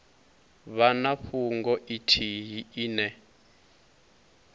vha na fhungo ithihi ine